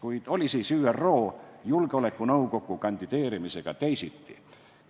Kuid oli siis ÜRO Julgeolekunõukokku kandideerimisega teisiti?